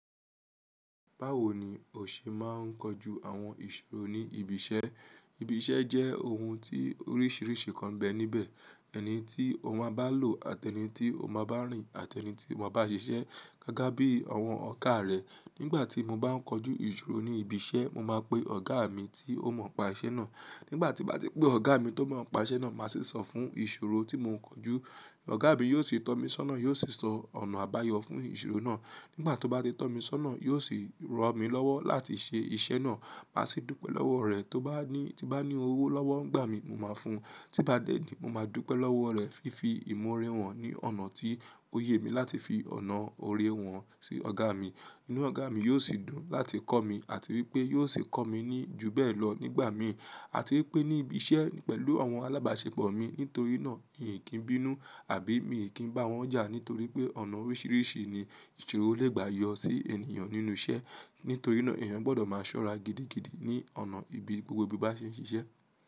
Báwo ni o ṣe máa ń kojú àwọn ìṣòro ní ibi iṣẹ́? Ibi iṣẹ́ jẹ́ oun tí oríṣiríṣi kan bẹ níbẹ̀, ẹni tí òun máa bá lò àti ẹni tí òun máa bá rìn, àti ẹni tí òun máa bá ṣiṣẹ́, gágá bí àwọn ọ̀ká rẹ̀. Nígbà tí mo bá ń kojú ìṣòro ní ibi iṣẹ́, mo máa pe ọ̀gá mi tí ó mọ̀ pa iṣẹ́ náà. Nígbà tí bá ti pé ọ̀gá mi tó máa ń pa iṣẹ́ náà, màá sí sọ fún ìṣòro tí mò ń kojú. Ọ̀gá mi yóò sì tọ́ mi sọ́nà, yóò sì sọ ọ̀nà àbáyọ fún ìṣòro náà. Nígbà tí ó bá ti tọ́ mi sọ́nà, yóò sì rọ mí lọ́wọ́ láti ṣe iṣẹ́ náà, màá sì dúpẹ́ lọ́wọ́ rẹ̀. Tí o bá ní owó lọ́wọ́ ńgbà mí, mo máa fún un. Tí bá dẹ̀dìí, mo máa dúpẹ́ lọ́wọ́ rẹ̀ fífi imọ̀ oré wọ̀n ní ọ̀nà tí ó yé mi láti fi ọ̀nà oré wọ̀n sí ọ̀gá mi. Inú ọ̀gá mi yóò sì dùn láti kọ́ mi àti wí pé yóò sì kọ́ mi ní jù bẹ́ẹ̀ lọ nígbà míì. À tí pé ní ibi iṣẹ́, pẹ̀lú àwọn alábàáṣepò mi, nítorí náà ǹ kí ń bínú, àbí mi kì í bá wọn jà nítorí pé ọ̀nà oríṣiríṣi ni ìṣòro légbàá yọ sí ènìyàn nínú iṣẹ́. Nítorí náà èèyàn gbọdọ̀ má ṣọ́rá gidigidi ní ọ̀nà ibi gbógbó ibi bá ṣe ń ṣiṣẹ́.